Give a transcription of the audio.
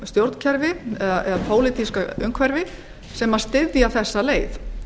stjórnkerfi eða pólitíska umhverfi sem styðja þessa leið